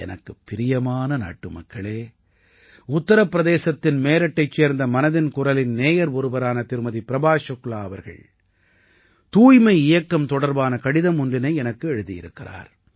எனக்குப் பிரியமான நாட்டுமக்களே உத்தர பிரதேசத்தின் மேரட்டைச் சேர்ந்த மனதின் குரலின் நேயர் ஒருவரான திருமதி பிரபா சுக்லா அவர்கள் தூய்மை இயக்கம் தொடர்பான கடிதம் ஒன்றினை எனக்கு எழுதியிருக்கிறார்